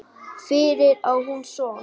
Fyrir á hún son.